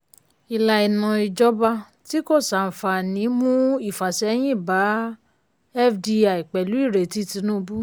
ìlà ìmọ̀ ìjọba tí kò ṣàǹfààní mú ìfàsẹyìn bá fdi pẹ̀lú ìrètí tinúubú.